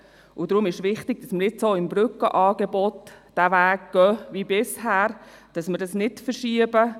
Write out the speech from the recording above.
Deshalb ist es wichtig, nun auch beim Brückenangebot den bisherigen Weg weiterzugehen und es nicht zu verschieben.